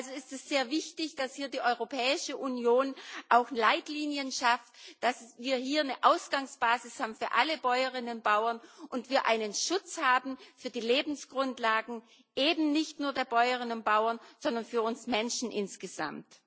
Also ist es sehr wichtig, dass hier die Europäische Union auch Leitlinien schafft, dass wir hier eine Ausgangsbasis haben für alle Bäuerinnen und Bauern und wir einen Schutz haben für die Lebensgrundlagen eben nicht nur der Bäuerinnen und Bauern, sondern für uns Menschen insgesamt.